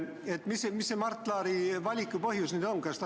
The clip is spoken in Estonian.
Ühesõnaga, mis see Mart Laari valiku põhjus nüüd on?